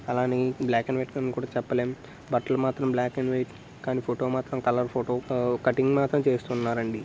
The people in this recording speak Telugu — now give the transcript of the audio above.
అలా అని బ్లాక్ అండ్ వైట్ అని కూడా చెప్పలేం బట్టలు మాత్రం బ్లాక్ అండ్ వైట్ కానీ ఫోటో మాత్రం కలర్ ఫోటో ఆ కటింగ్ మాత్రం చేస్తున్నారండి.